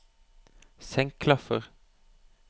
senk klaffer